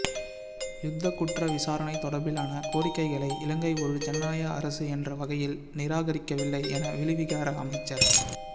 யுத்தக் குற்ற விசாரண தொடர்பிலான கோரிக்கைகைளை இலங்கை ஒரு ஜனநாயக அரசு என்ற வகையில் நிராகரிக்கவில்லை என வெளிவிகார அமைச்சர்